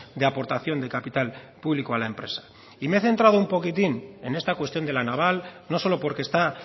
de aportación de capital público a la empresa y me he centrado un poquitín en esta cuestión de la naval no solo porque está